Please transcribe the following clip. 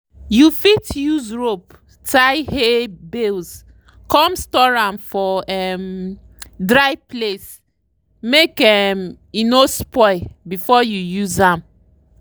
you fit use rope tie hay bales come store am for um dry place make um e no spoil before you use am.